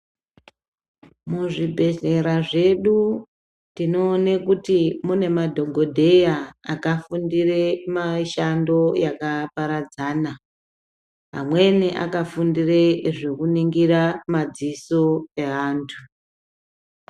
Muzvibhehlera zvedu tinoone kuti mune madhokodheya akafundire mishando yakaparadzana. Amweni akafundire zvekuningire madziso evantu.